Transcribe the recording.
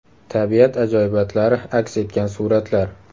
Tabiat ajoyibotlari aks etgan suratlar .